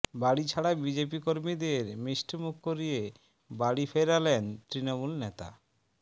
বাড়িছাড়া BJP কর্মীদের মিষ্টিমুখ করিয়ে বাড়ি ফেরালেন তৃণমূল নেতা